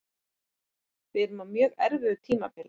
Við erum á mjög erfiðu tímabili